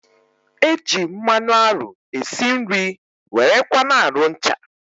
E ji mmanụ arụ e si nri, wéré kwa na arụ ncha